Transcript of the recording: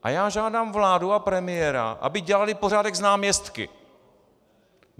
A já žádám vládu a premiéra, aby dělali pořádek s náměstky.